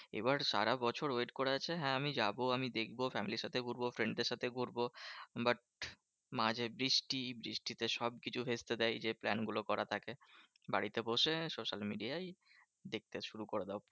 এবার সারাবছর wait করা যা, হ্যাঁ আমি যাবো আমি দেখবো family র সাথে ঘুরবো। friend দের সাথে ঘুরবো। but মাঝে, বৃষ্টি বৃষ্টিতে সবকিছু ভেস্তে দেয়। যে plan গুলো করা থাকে, বাড়িতে বসে সখসাদ মিটে যায় দেখতে শুরু করে দাও